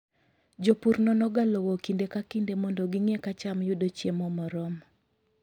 Jopur nonoga lowo kinde ka kinde mondo ging'e ka cham yudo chiemo moromo.